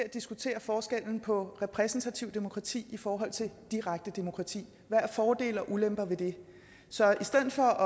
at diskutere forskellen på repræsentativt demokrati og direkte demokrati hvad er fordele og ulemper ved det så i stedet for